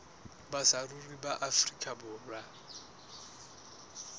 ba saruri ba afrika borwa